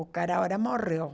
O cara agora morreu.